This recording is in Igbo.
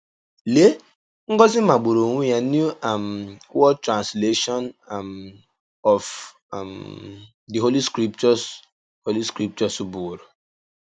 Lèe ngọzi magbùrù onwe ya New um World Translation um of um the Holy Scriptures Holy Scriptures bụ̀wòrò!